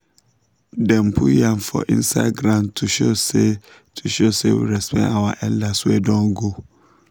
dem put first yam for inside ground to show say to show say we respect our elders wey don go